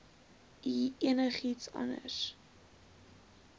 u enigiets anders